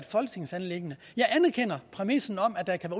folketingsanliggende jeg anerkender præmissen om at der kan